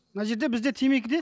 мына жерде бізде темекіде